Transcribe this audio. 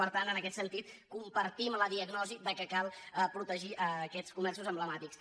per tant en aquest sentit compartim la diagnosi que cal protegir aquests comerços emblemàtics